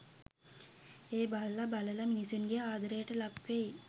ඒ බල්ල, බළලා මිනිසුන්ගේ ආදරයට ලක් වෙයි.